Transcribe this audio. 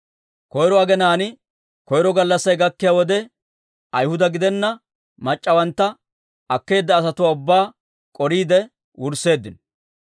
Koyro aginaan koyro gallassay gakkiyaa wode, Ayhuda gidenna mac'c'awantta akkeedda asatuwaa ubbaa k'oriide wursseeddino.